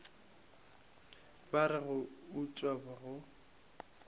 ba re go utswa go